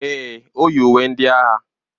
Èè, o yi uwe ndị agha.